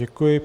Děkuji.